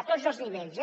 a tots els nivells eh